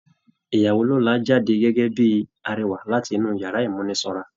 Ìyàwó lọ́la jáde gẹ́gẹ́ bíi arẹwà láti inú yàrá ìmúnisanra.